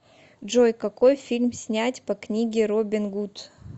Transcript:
джой какои фильм снять по книге робин гуд